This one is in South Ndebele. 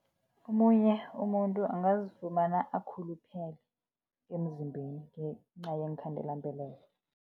Omunye umuntu angazifumana akhuluphele emzimbeni, ngenca yeenkhandela-mbeleko.